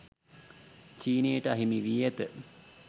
චීනයට අහිමි වී ඇත